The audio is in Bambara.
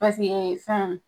Paseke fɛn